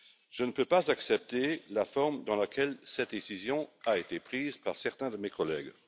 Je ne peux pas accepter la forme dans laquelle cette décision a été prise par certains de mes collègues.